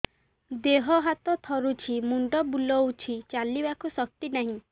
ଦେହ ହାତ ଥରୁଛି ମୁଣ୍ଡ ବୁଲଉଛି ଚାଲିବାକୁ ଶକ୍ତି ନାହିଁ